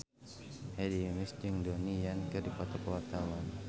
Hedi Yunus jeung Donnie Yan keur dipoto ku wartawan